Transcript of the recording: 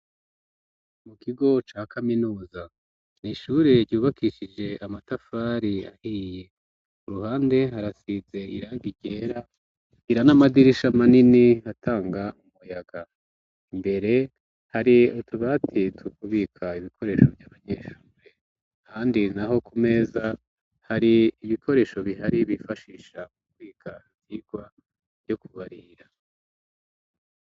Mu kigo ca kaminuza n'ishure ryubakishije amatafari ahiye, kuruhande harasize irangi ryera, ikagira n'amadirisha manini atanga akayaga, imbere hari utubati tw'ukubika ibikoresho vy'abanyeshure ,ahandi naho ku meza hari ibikoresho bihari bifashisha kwika ivyigwa vyo kubarira